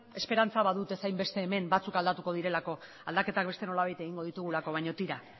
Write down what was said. esperantza badutez hainbeste hemen batzuek aldatuko direlako aldaketak beste nolabait egingo ditugulako baino tira